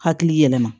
Hakili yɛlɛma